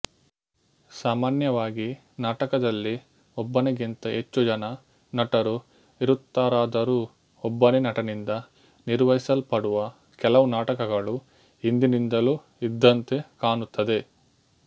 ಸಾಮಾನ್ಯವಾಗಿ ನಾಟಕದಲ್ಲಿ ಒಬ್ಬನಿಗಿಂತ ಹೆಚ್ಚು ಜನ ನಟರು ಇರುತ್ತಾರಾದರೂ ಒಬ್ಬನೇ ನಟನಿಂದ ನಿರ್ವಹಿಸಲ್ಪಡುವ ಕೆಲವು ನಾಟಕಗಳು ಹಿಂದಿನಿಂದಲೂ ಇದ್ದಂತೆ ಕಾಣುತ್ತದೆ